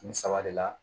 Nin saba de la